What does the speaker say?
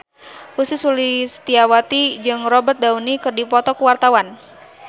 Ussy Sulistyawati jeung Robert Downey keur dipoto ku wartawan